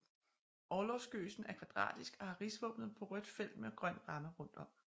Orlogsgøsen er kvadratisk og har rigsvåbnet på rødt felt med grøn ramme rundt om